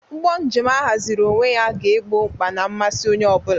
Ụgbọ njem ahaziri onwe ya ga-egbo mkpa na mmasị onye ọ bụla.